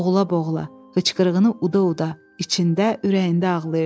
Boğula-boğula, hıçqırığını uda-uda, içində ürəyində ağlayırdı.